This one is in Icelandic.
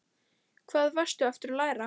Hvað varstu aftur að læra?